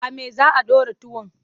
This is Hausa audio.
A me za a ɗora tuwon?